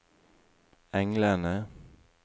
englene